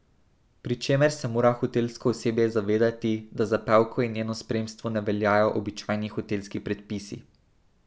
Pri čemer se mora hotelsko osebje zavedati, da za pevko in njeno spremstvo ne veljajo običajni hotelski predpisi.